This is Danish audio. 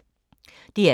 DR2